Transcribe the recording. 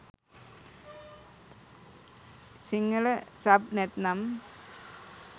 Sinhala sub නැත්නම්